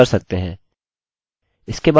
अन्यथा यह हर लोगों को अपडेट कर देगा